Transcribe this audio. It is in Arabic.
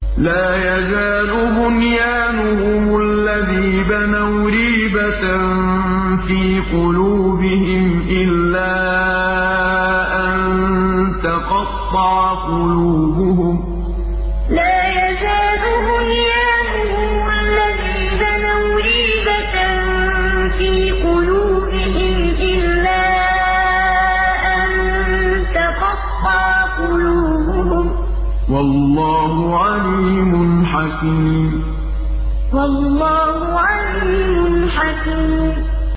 لَا يَزَالُ بُنْيَانُهُمُ الَّذِي بَنَوْا رِيبَةً فِي قُلُوبِهِمْ إِلَّا أَن تَقَطَّعَ قُلُوبُهُمْ ۗ وَاللَّهُ عَلِيمٌ حَكِيمٌ لَا يَزَالُ بُنْيَانُهُمُ الَّذِي بَنَوْا رِيبَةً فِي قُلُوبِهِمْ إِلَّا أَن تَقَطَّعَ قُلُوبُهُمْ ۗ وَاللَّهُ عَلِيمٌ حَكِيمٌ